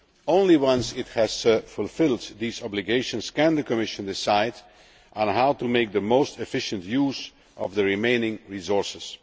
Only once it has fulfilled these obligations can the Commission decide on how to make the most efficient use of the remaining resources.